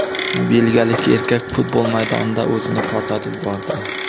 Belgiyalik erkak futbol maydonida o‘zini portlatib yubordi.